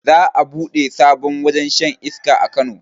Za a buɗe sabon wajen shan iska a kano